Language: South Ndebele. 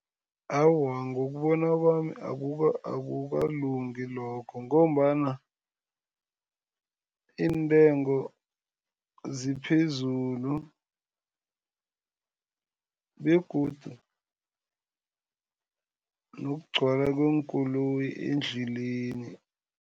Awa, ngokubona kwami akukalungi lokho ngombana iintengo ziphezulu begodu nokugcwala kweenkoloyi endleleni.